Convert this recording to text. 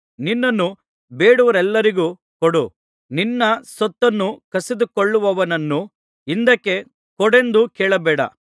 ನಿನ್ನನ್ನು ಬೇಡುವವರೆಲ್ಲರಿಗೂ ಕೊಡು ನಿನ್ನ ಸೊತ್ತನ್ನು ಕಸಿದುಕೊಳ್ಳುವವನನ್ನು ಹಿಂದಕ್ಕೆ ಕೊಡೆಂದು ಕೇಳಬೇಡ